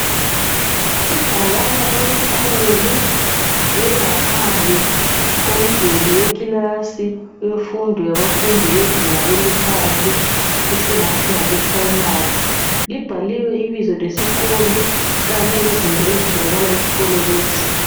Ibhakana elikhulu elingaphandle komduli wekilasi yemfundo yabafundi bezinga eliphansi esingathi ngabePrimary. Libhaliwe ibizo lesikolo, kanye lezinto ezitholakla esikolo lesi.